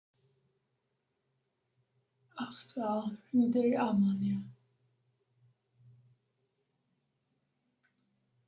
Ástvar, hringdu í Ármanníu.